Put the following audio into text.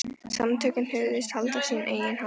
Samtökin hugðust halda sína eigin hátíð.